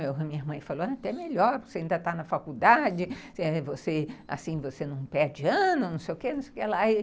Minha irmã falou, até melhor, você ainda está na faculdade, assim, você não perde ano, não sei o quê, não sei o quê lá.